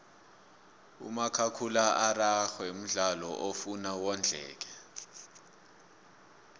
umakhakhula araxhwe mdlalo ofuna wondleke